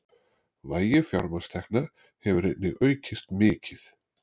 Vægi fjármagnstekna hefur einnig aukist mikið